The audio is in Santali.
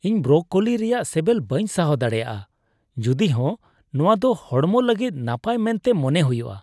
ᱤᱧ ᱵᱨᱚᱠᱳᱞᱤ ᱨᱮᱭᱟᱜ ᱥᱮᱵᱮᱞ ᱵᱟᱹᱧ ᱥᱟᱦᱟᱣ ᱫᱟᱲᱮᱭᱟᱜᱼᱟ ᱡᱩᱫᱤᱦᱚᱸ ᱱᱚᱶᱟ ᱫᱚ ᱦᱚᱲᱢᱚ ᱞᱟᱹᱜᱤᱫ ᱱᱟᱯᱟᱭ ᱢᱮᱱᱛᱮ ᱢᱚᱱᱮ ᱦᱩᱭᱩᱜᱼᱟ ᱾